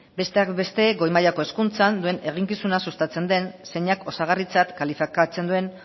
besteak beste goi mailako hezkuntzan duen eginkizuna sustatzen den zeinak osagarritzat kalifikatzen duen